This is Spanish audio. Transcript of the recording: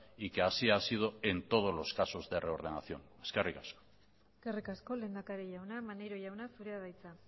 y que así ha sido en todos los casos de reordenación eskerrik asko eskerrik asko lehendakari jauna maneiro jauna zurea da hitza